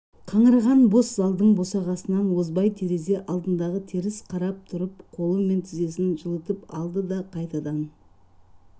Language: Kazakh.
қаңыраған бос залдың босағасынан озбай терезе алдындағы теріс қарап тұрып қолы мен тізесін жылытып алды да қайтадан